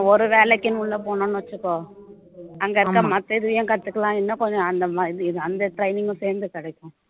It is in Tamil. ஒரு வேலைக்குன்னு உள்ள போனோம்னு வச்சுக்கோ அங்க இருக்க மத்த இதுவையும் கத்துக்கலாம் இன்னும் கொஞ்சம் அந்த அந்த training உம் சேத்து கிடைக்கும்